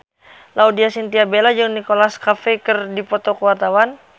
Laudya Chintya Bella jeung Nicholas Cafe keur dipoto ku wartawan